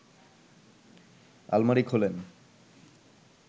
আলমারি খোলেন